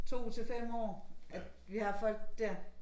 2 til 5 år at vi har folk dér